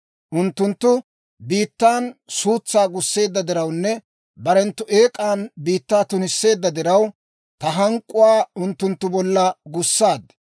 Unttunttu biittan suutsaa gusseedda dirawunne barenttu eek'an biittaa tunisseedda diraw, ta hank'k'uwaa unttunttu bollan gussaad.